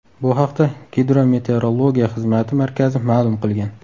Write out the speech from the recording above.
Bu haqda Gidrometeorologiya xizmati markazi ma’lum qilgan .